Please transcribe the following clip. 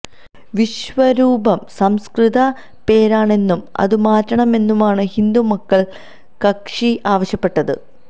വിശ്വരൂപം സംസ്കൃത പേരാണെന്നും അതു മാറ്റണമെന്നുമാണ് ഹിന്ദു മക്കള് കക്ഷി ആവശ്യപ്പെട്ടത്